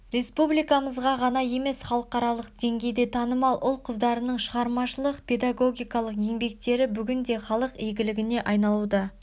республикамызға ғана емес халықаралық деңгейде танымал ұл қыздарының шығармашылық педагогиқалық еңбектері бүгінде халық игілігіне айналуда